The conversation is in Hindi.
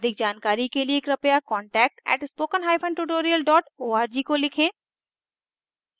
अधिक जानकारी के लिए कृपया contact @spokentutorial org को लिखें